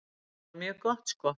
Bara mjög gott sko.